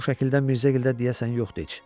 Bu şəkildə Mirzəgil də deyəsən yoxdu heç.